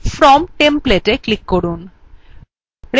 from templateএ click from